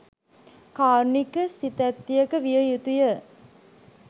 කාරුණික සිතැත්තියක විය යුතුය.